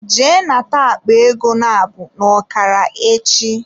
Jee nata akpa ego nabụ n'okara echi.